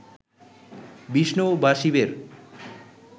বিষ্ণু বা শিবের